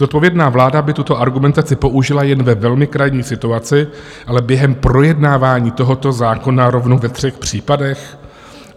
Zodpovědná vláda by tuto argumentaci použila jen ve velmi krajní situaci, ale během projednávání tohoto zákona rovnou ve třech případech?